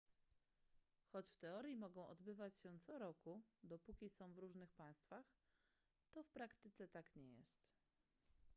choć w teorii mogą odbywać się co roku dopóki są w różnych państwach to w praktyce tak nie jest